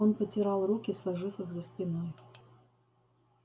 он потирал руки сложив их за спиной